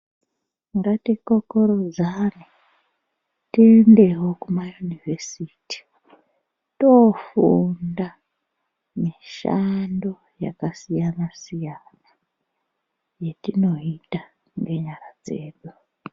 Ngatikokorodzane tiendewo kumayunivhesiti tofunda mishando yakasiyana siyana yetinoita ngenyara dzedu.